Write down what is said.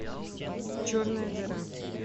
черная дыра